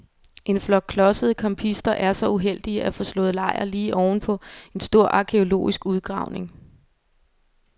En flok klodsede campister er så uheldige at få slået lejr lige ovenpå en stor arkæologisk udgravning.